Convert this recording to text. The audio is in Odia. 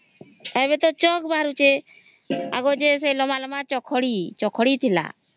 ଏବେ ତ ଚକ ବାହାରୁଛି ଆଗରୁ ସେ ଲମ୍ବା ଲମ୍ବା ଚକ ଖଡ଼ି ଥିଲା ହଁ